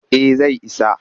Eh zai isa